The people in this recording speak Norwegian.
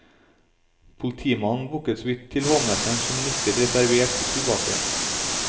Politimannen bukket såvidt til hovmesteren som nikket reservert tilbake.